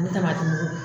A bɛ taaba